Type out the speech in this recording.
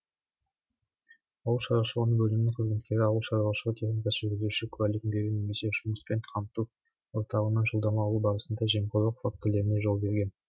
ауыл шаруашылығы бөлімінің қызметкері ауыл шаруашылығы техникасына жүргізуші куәлігін беру немесе жұмыспен қамту орталығынан жолдама алу барысында жемқорлық фактілеріне жол берген